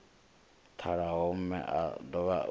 ṱalaho mme o dovha u